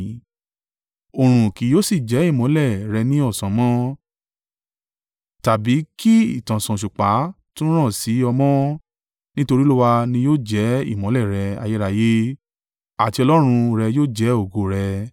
Òòrùn kì yóò sì jẹ́ ìmọ́lẹ̀ rẹ ní ọ̀sán mọ́, tàbí kí ìtànṣán òṣùpá tún ràn sí ọ mọ́, nítorí Olúwa ni yóò jẹ́ ìmọ́lẹ̀ rẹ ayérayé, àti Ọlọ́run rẹ yóò jẹ́ ògo rẹ.